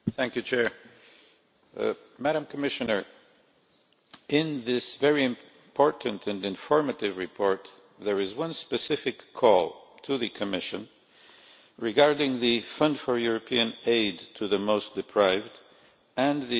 Mr President, in this very important and informative report there is one specific call to the Commission regarding the fund for European aid to the most deprived and the European Social Fund.